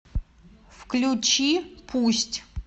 включи пусть